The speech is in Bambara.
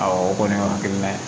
Awɔ o kɔni y'o hakilina ye